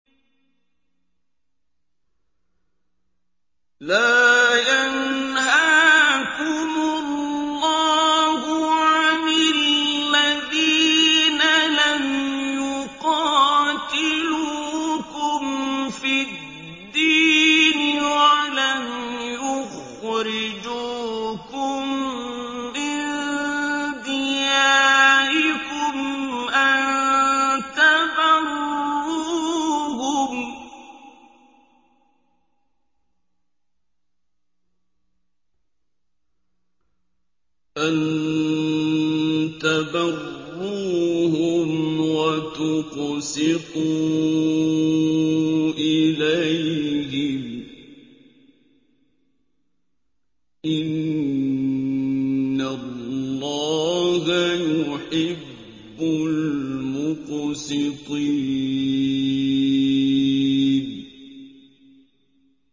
لَّا يَنْهَاكُمُ اللَّهُ عَنِ الَّذِينَ لَمْ يُقَاتِلُوكُمْ فِي الدِّينِ وَلَمْ يُخْرِجُوكُم مِّن دِيَارِكُمْ أَن تَبَرُّوهُمْ وَتُقْسِطُوا إِلَيْهِمْ ۚ إِنَّ اللَّهَ يُحِبُّ الْمُقْسِطِينَ